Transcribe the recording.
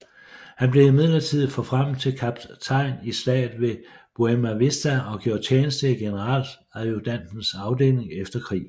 Han blev midlertidigt forfremmet til kaptajn i Slaget ved Buena Vista og gjorde tjeneste i generaladjudantens afdeling efter krigen